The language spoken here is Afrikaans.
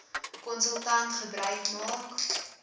konsultant gebruik maak